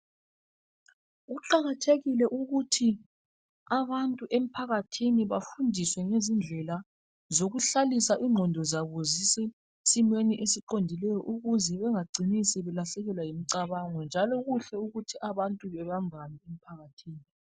Kuqakathekile ukuthi abantu emphakathini bafundiswe ngezindlela zokuhlalisa ingqondo zabo zisesimeni siqondileyo ukuze bengacini sebelahlekelwa yimicabango njalo kuhle ukuthi abantu bebembane emphakathini.